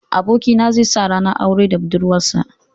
Abokina zai sa ranar aure da budurwarsa.